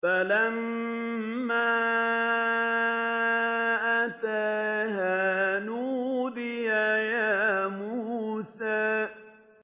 فَلَمَّا أَتَاهَا نُودِيَ يَا مُوسَىٰ